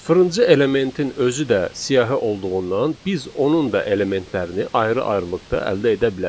Sıfırıncı elementin özü də siyahı olduğundan biz onun da elementlərini ayrı-ayrılıqda əldə edə bilərik.